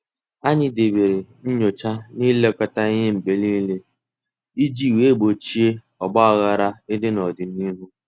Anyị debere nyocha na ilekọta ihe mgbe niile iji wee gbochie ogbaghara ịdị n'ọdịnihu.